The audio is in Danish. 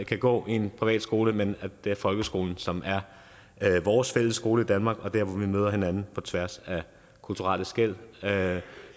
kan gå i en privatskole men at det er folkeskolen som er vores fælles skole i danmark og der hvor vi møder hinanden på tværs af kulturelle skel